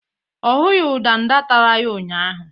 Ọ hụghị ndanda tara ya ụnyahụ